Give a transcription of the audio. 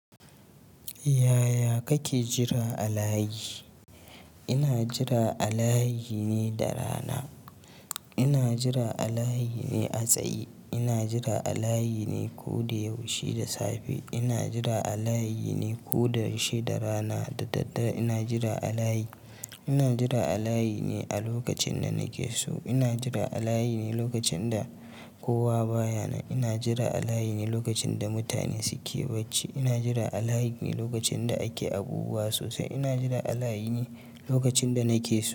Yaya kake jira a layi? Ina jira a layi ne da rana. Ina jira a layi ne a tsaye. Ina jira a layi ne ko da yaushe da safe. Ina jira a layi ne ko da yaushe da rana da daddare. Ina jira a layi. Ina jira a layi ne a lokacin da nake so. Ina jira a layi ne lokacin da kowa baya nan. Ina jira a layi ne lokacin da mutane suke bacci. Ina jira a layi ne lokacin da ake abubuwa sosai. Ina jira a layi ne lokacin da nake so.